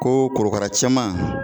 Ko korokara cɛman